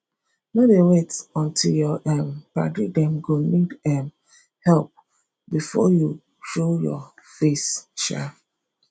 no dey wait until your um paddy dem go need um help before you show your face um